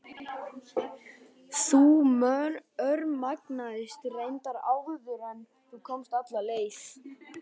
Þú örmagnaðist reyndar áður en þú komst alla leið.